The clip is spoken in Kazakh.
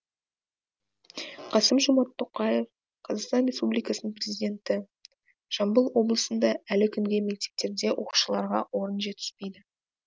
қасым жомарт тоқаев қазақстан республикасының президенті жамбыл облысында әлі күнге мектептерде оқушыларға орын жетіспейді